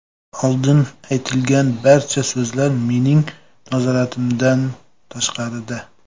Oldin aytilgan barcha so‘zlar mening nazoratimdan tashqarida.